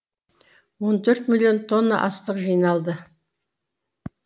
он төрт миллион тонна астық жиналды